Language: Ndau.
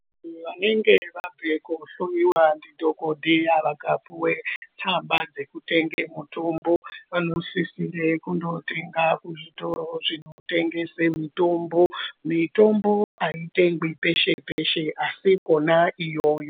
Vantu vanenge vabve kohloiwa ndidhokodheya vakapuwe tsamba dzekutenge mutombo vanosisira kundootenga kuzvitoro zvinotengese mitombo, mitombo aitengwi peshe peshe asi Kona iyoyo.